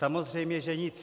Samozřejmě že nic.